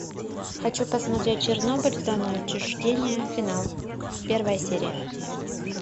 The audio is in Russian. хочу посмотреть чернобыль зона отчуждения финал первая серия